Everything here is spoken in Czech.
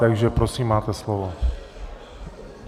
Takže prosím, máte slovo.